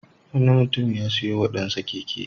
Wani mutum ya sayo wa ɗansa keke.